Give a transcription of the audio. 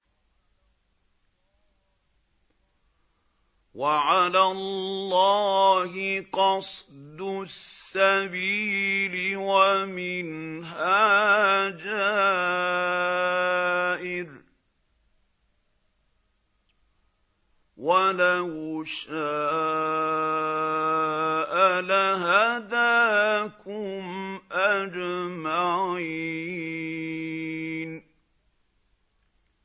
وَعَلَى اللَّهِ قَصْدُ السَّبِيلِ وَمِنْهَا جَائِرٌ ۚ وَلَوْ شَاءَ لَهَدَاكُمْ أَجْمَعِينَ